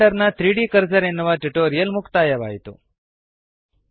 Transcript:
ಇಲ್ಲಿಗೆ ನಮ್ಮ ಬ್ಲೆಂಡರ್ ನ 3ದ್ ಕರ್ಸರ್ ಎನ್ನುವ ಟ್ಯುಟೋರಿಯಲ್ ಮುಕ್ತಾಯವಾಯಿತು